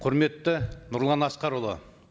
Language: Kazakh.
құрметті нұрлан асқарұлы